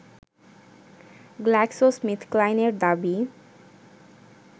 GlaxoSmithKline এর দাবি